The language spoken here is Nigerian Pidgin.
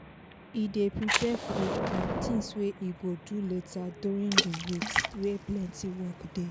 e dey prepare food and things wey e go do later during the weeks wey plenty work dey.